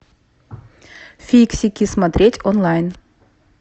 фиксики смотреть онлайн